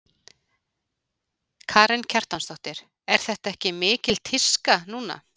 Karen Kjartansdóttir: Er þetta ekki mikil tíska núna?